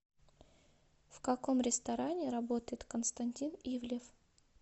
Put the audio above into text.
в каком ресторане работает константин ивлев